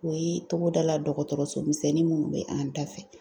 O ye togoda la dɔgɔtɔrɔso misɛnni minnu bɛ an da fɛ.